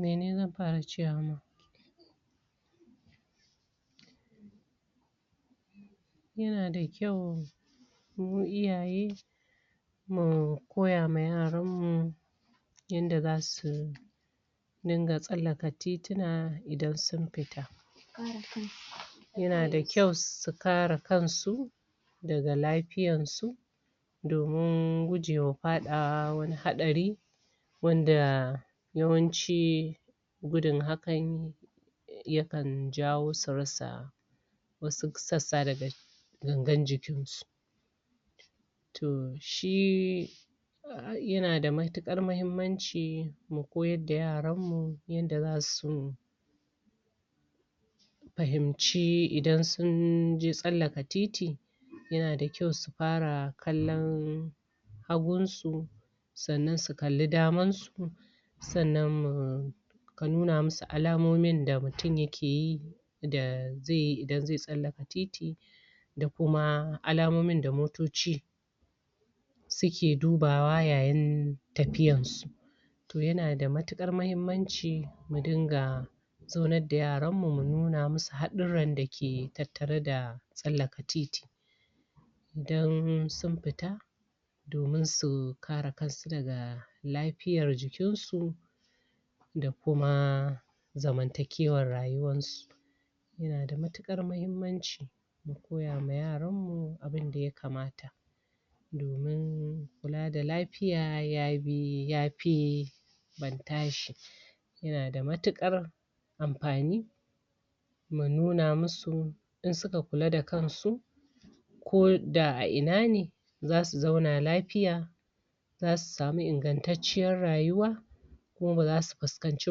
Mene zam fara cewa ma yana da ƙyau mu iyaye mukoya ma yaran mu yanda zasu dinga tsallaka tituna idan sun fita yana da kyau su kara kansu daga lafiyan su domin gujewa faɗawa wani haɗari wanda yawanci gudin hakan yakan jawo su rasa wasu sassa daga gangan jikinsu. Toh shi yanada matuƙar mahimmanci mu koyarda yaranmu yanda zasu fahimci idan sunje tsallaka titi yana da ƙyau su fara kallan hagun su sannan su kalli daman su sannan mu ka nuna musu alamomon da mutum yake yi da zeyi idan ze tsallaka titi da kuma alamomin da moto ci suke dubawa yayin tafiyansu. Toh yanada matuƙar mahimmanci mu dinga zaunar da yaranmu mu nuna musu haɗurran dake tattare da tsallaka titi, idan sun fita domin su kara kansu daga lafiyar jikinsu da kuma zamanta kewan rayuwar su. Yana da matuƙar mahimmanci mu koyawa yaranmu abinda ya kamata domin kula da lafiya yabi yafi ban tashi, yana da matuƙar amfani mu nuna musu in suka kula da kansu, ko da a ina ne zasu zauna lafiya, zasu samu ingantacciyar rayuwa, kuma baza su fuskanci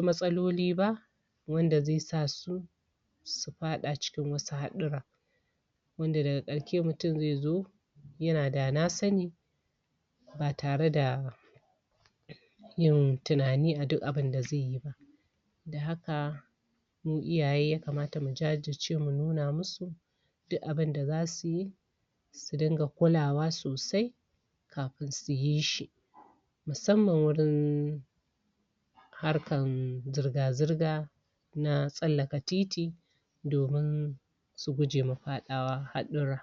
matsaloli ba wanda ze sasu su fada cikin wasu haɗurran. Wanda daga ƙarshe mutum ze zo yana dana sani ba tare da yin tinani a duk abinda zeyi, dan haka mu iyaye ya kamata mu jajirce mu nuna musu duk abinda za suyi su dinga kulawa sosai kafin su yishi musamman wurin harkan zirga-zirga na tsallaka titi domin su gujema faɗawa haɗurra.